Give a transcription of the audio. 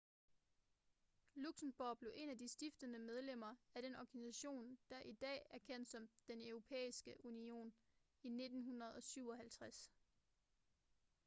luxembourg blev et af de stiftende medlemmer af den organisation der i dag er kendt som den europæiske union i 1957